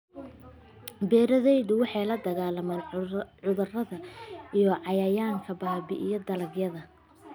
Beeraleydu waxay la dagaallamaan cudurrada iyo cayayaanka baabi'iya dalagyada.